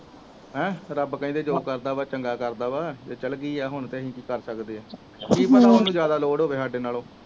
ਹਮ ਰੱਬ ਕਹਿੰਦੇ ਜੋ ਕਰਦਾ ਵਾ ਚੰਗਾ ਕਰਦਾ ਵਾ ਜੇ ਚਲਗੀ ਆ ਹੁਣ ਤੇ ਅਸੀਂ ਕਿ ਕਰ ਸਕਦੇ ਕਿ ਪਤਾ ਓਹਨੂੰ ਜਾਦਾ ਲੋੜ ਹੋਵੇ ਸਾਡੇ ਨਾਲੋਂ